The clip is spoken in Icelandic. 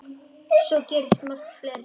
Svo gerist margt fleira.